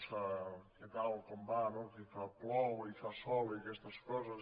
què tal com va no que plou i fa sol i aquestes coses